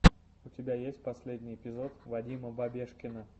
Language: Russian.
у тебя есть последний эпизод вадима бабешкина